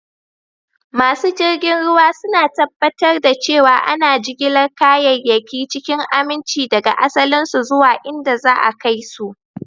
Masu jirgin ruwa suna tabbatar da cewa ana jigilar kayayyaki cikin aminci daga asalinsu zuwa inda za a kai su.